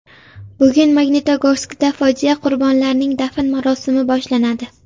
Bugun Magnitogorskda fojia qurbonlarning dafn marosimi boshlanadi.